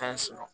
Tan sɔrɔ